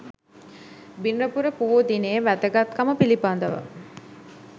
බිනරපුර පොහෝ දිනයෙහි වැදගත්කම පිළිබඳව